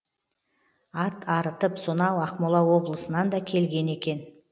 ат арытып сонау ақмола облысынан да келген екен